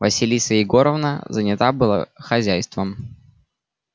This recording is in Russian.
василиса егоровна занята была хозяйством